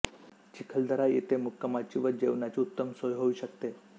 चिखलदरा येथे मुक्कामाची व जेवणाची उत्तम सोय होऊ शकते